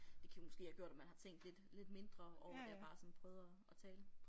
Det kan måske have gjort at man har tænkt lidt lidt mindre over det og bare sådan prøvet at at tale